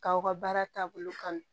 K'aw ka baara taabolo kanu